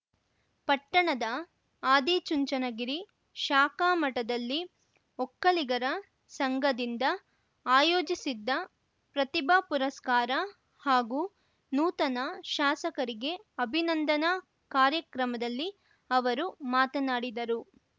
ಪಟ್ಟಣದ ಆದಿಚುಂಚನಗಿರಿ ಶಾಖಾಮಠದಲ್ಲಿ ಒಕ್ಕಲಿಗರ ಸಂಘದಿಂದ ಆಯೋಜಿಸಿದ್ದ ಪ್ರತಿಭಾ ಪುರಸ್ಕಾರ ಹಾಗೂ ನೂತನ ಶಾಸಕರಿಗೆ ಅಭಿನಂದನಾ ಕಾರ್ಯಕ್ರಮದಲ್ಲಿ ಅವರು ಮಾತನಾಡಿದರು